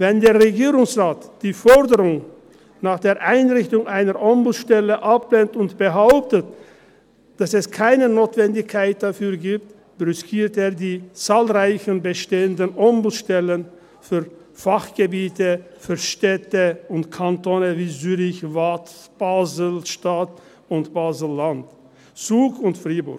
Wenn der Regierungsrat die Forderung nach der Einrichtung einer Ombudsstelle ablehnt und behauptet, dass es keine Notwendigkeit dafür gibt, brüskiert er die zahlreichen bestehenden Ombudsstellen für Fachgebiete, für Städte und für Kantone wie Zürich, Waadt, Basel-Stadt, Basel-Land, Zug und Freiburg.